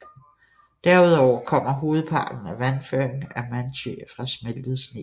Derud over kommer hovedparten af vandføringen i Manytj fra smeltet sne